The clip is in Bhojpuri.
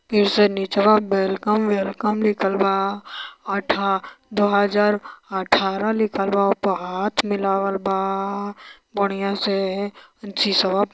फिर से निचवा वेलकम वेलकम लिखल बा अठा दो हजार अठारह लिखल बा ओपा हाथ मिलवाल बा बढ़ियां से। शिशवा --